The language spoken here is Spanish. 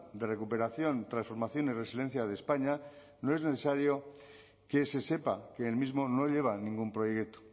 de recuperación transformación y resiliencia de españa no es necesario que se sepa que el mismo no lleva ningún proyecto